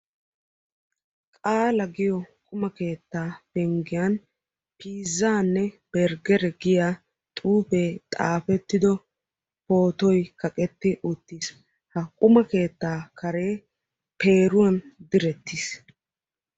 Qaala giyoo quma keettaa karen piizzaanne bergere giyaa xuufee xafetti uttido pootoy kaqetti uttiis. ha quma keettaa karee peeruwaan direttiis.